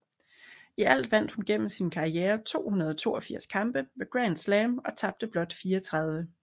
I alt vandt hun gennem sin karriere 282 kampe ved Grand Slam og tabte blot 34